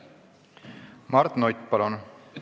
Mart Nutt, palun!